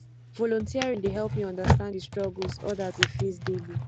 volunteering dey help me understand di struggles others dey face daily